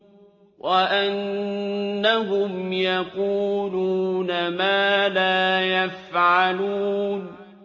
وَأَنَّهُمْ يَقُولُونَ مَا لَا يَفْعَلُونَ